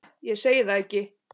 Ég segi það ekki.